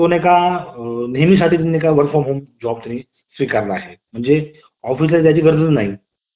तुम्ही समजून घ्यावे तर नोकरीचा फायदा काय आहे हे मी तुम्हाला सांगत आहे. यामध्ये तुम्हाला तुमचे एक कौशल्य दाखवावे लागेल आणि त्यानुसार काम करावे लागेल.